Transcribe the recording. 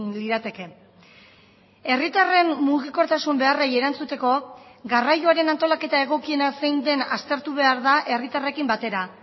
lirateke herritarren mugikortasun beharrei erantzuteko garraioaren antolaketa egokiena zein den aztertu behar da herritarrekin batera